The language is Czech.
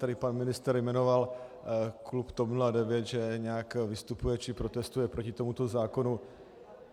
Tady pan ministr jmenoval klub TOP 09, že nějak vystupuje či protestuje proti tomuto zákonu.